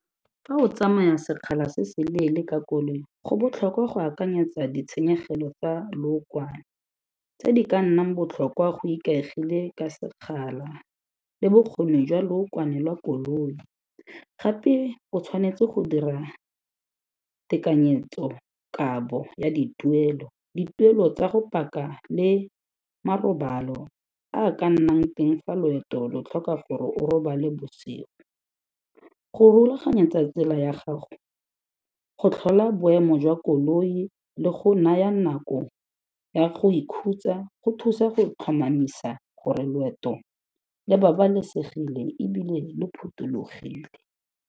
Fa o tsamaya sekgala se se leele ka koloi, go botlhokwa go akanyetsa ditshenyegelo tsa lookwane tse di ka nnang botlhokwa go ikaegile ka sekgala le bokgoni jwa lookwane la koloi. Gape o tshwanetse go dira tekanyetso-kabo ya dituelo, dituelo tsa go paka le marobalo a ka nnang teng fa loeto lo tlhoka gore o robale bosigo. Go rulaganyatsa tsela ya gago, go tlhola boemo jwa koloi le go naya nako ya go ikhutsa, go thusa go tlhomamisa gore loeto le babalesegile e bile le phuthologile.